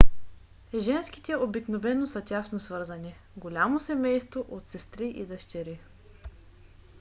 женските обикновено са тясно свързани голямо семейство от сестри и дъщери